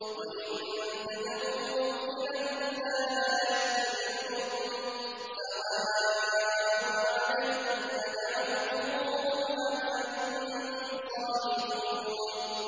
وَإِن تَدْعُوهُمْ إِلَى الْهُدَىٰ لَا يَتَّبِعُوكُمْ ۚ سَوَاءٌ عَلَيْكُمْ أَدَعَوْتُمُوهُمْ أَمْ أَنتُمْ صَامِتُونَ